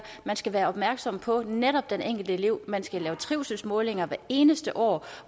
man skal være opmærksom på netop den enkelte elev man skal lave trivselsmålinger hvert eneste år